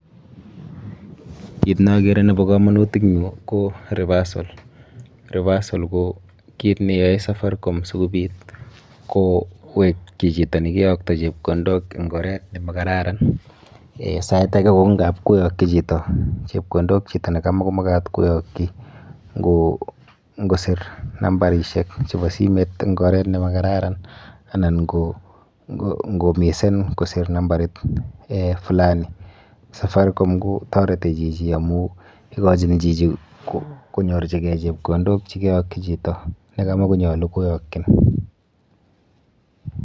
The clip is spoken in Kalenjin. Kiit ne agere nebo kamanut eng yu ko reversal, reversal ko kiit ne yoe safaricom sikobit kowekchi chitoo ne kiyokto chepkondok eng oret ne makararan. Sait age kou ngap koyokchi chito chepkondok chito ne kamukumamekat koyokchi, ngo ser nambarisiek chebo simet eng oret ne ma kararan ana ko missen koser namabrit fulani safaricom toreti chichi amu ikochini chichi konyorchikei chepkondok che kayokchi chito ne matakunyolu koyakchi.